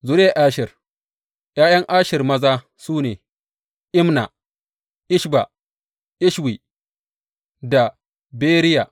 Zuriyar Asher ’Ya’yan Asher maza su ne, Imna, Ishba, Ishwi da Beriya.